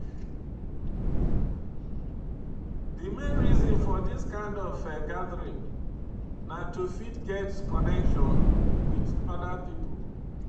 Di main reason for dis kind of gathering na to fit get connection with oda pipo